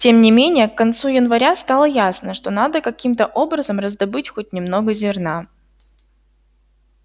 тем не менее к концу января стало ясно что надо каким-то образом раздобыть хоть немного зерна